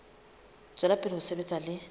tswela pele ho sebetsa le